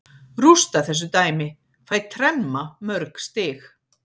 Rústa þessu dæmi, fæ tremma mörg stig.